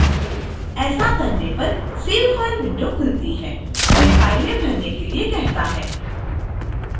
ऐसा करने पर save file विंडो खुलती है हमें file name भरने के लिए कहता है